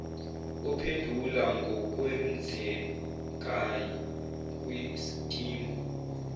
ophendula ngokwenzekayi kwiskimu